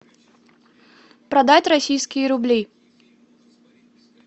продать российские рубли